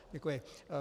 Děkuji.